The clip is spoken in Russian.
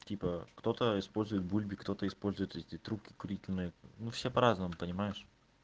типа кто-то использует бульбе кто-то использует эти трубки курительные ну все по-разному понимаешь